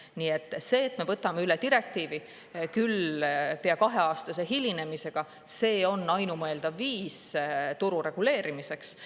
Nii et see, et me võtame üle direktiivi, küll pea kaheaastase hilinemisega, see on ainumõeldav viis turu reguleerimiseks.